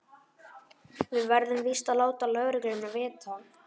Við verðum víst að láta lögregluna vita.